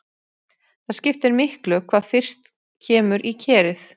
Það skiptir miklu hvað fyrst kemur í kerið.